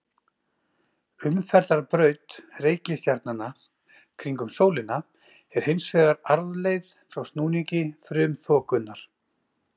Umferðarbraut reikistjarnanna kringum sólina er hins vegar arfleifð frá snúningi frumþokunnar.